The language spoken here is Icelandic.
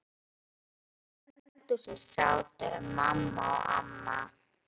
Heima í eldhúsi sátu mamma og amma.